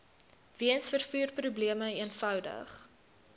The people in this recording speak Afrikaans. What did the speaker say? weens vervoerprobleme eenvoudig